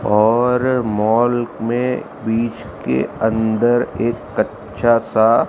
और मॉल में बीच के अंदर एक कच्चा सा--